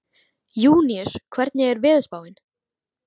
Júníus, hvernig er veðurspáin?